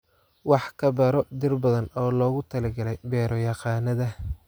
Wax badan ka baro dhir badan oo loogu talagalay beero-yaqaannada